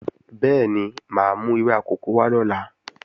Bẹ́ẹ̀ni, máa mú ewé akòko wá lọ́la